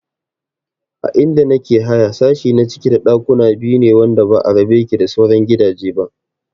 A inda nake haya sashi na ciki da ɗakuna biyu ne wanda ba a rabe yake da sauran gidaje ba